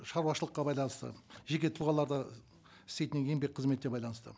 шаруашылыққа байланысты жеке тұлғаларда істейтін еңбек қызметіне байланысты